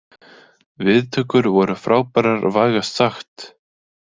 Viðtökur voru frábærar vægast sagt